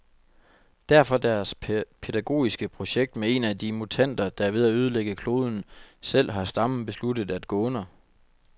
Derfor deres pædagogiske projekt med en af de mutanter, der er ved at ødelægge kloden, selv har stammen besluttet at gå under.